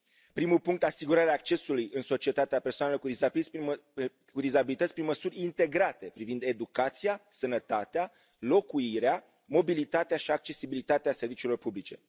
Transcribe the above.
Primul punct asigurarea accesului în societate a persoanelor cu dizabilități prin măsuri integrate privind educația, sănătatea, locuirea, mobilitatea și accesibilitatea serviciilor publice.